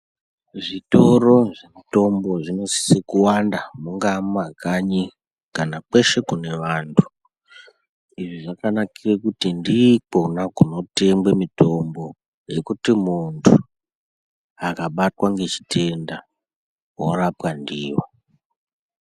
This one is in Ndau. Zvitoro zvemitombo zvinosise kuwanda mungaa kumakanyi kana kweshe kune vanthu. Izvi zvakanakire kuti ndikwo kwona kunotengwe mitombo yekuti munthu akabatwa nechitenda worapwa ndiyo.